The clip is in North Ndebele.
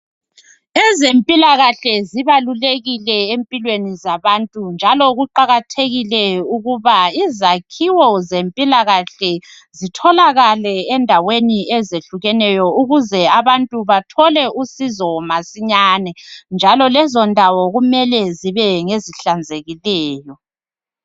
Izempila kahle zibalulekile empilwen zabantu njalo kuqakathekile ukuba izakhiwo zempila kahle zitholakale endaweni ezehlukaneyo ukuze abantu basizakale, lezondawo kufanele zihlanzeke